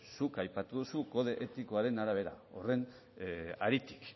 zuk aipatu duzun kode etikoaren arabera